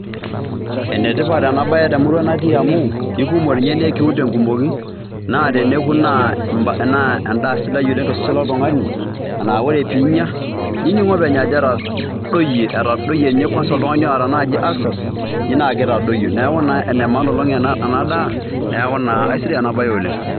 Ene tipat ena baye te murua natii amu ekumok nye nee kiun te nkumoki naa teneku naa endaa sidai oleng' to sesen loltung'ani naa ore piinya nining' openy ajo etadoyie etadoyie nye kwanza oltung'ani oata naji ulcers, ji naake itadoyio, neeku naa ene maana oleng' ena daa neeku naa aisidai ena baye oleng'.